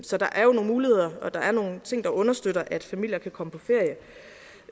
så der er jo nogle muligheder og der er nogle ting der understøtter at familier kan komme på